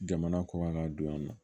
Jamana kɔ kan k'a don yan nɔ